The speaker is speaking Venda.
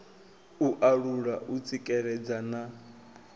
u alula u tsikeledza na